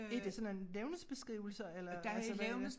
Er det sådan en levnedsbeskrivelser eller altså hvad er det?